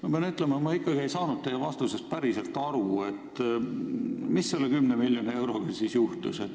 Ma pean ütlema, et ma ei saanud ikkagi teie vastusest päriselt aru, mis selle 10 miljoni euroga siis juhtus.